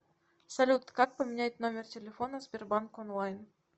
салют как поменять номер телефона в сбербанк онлайн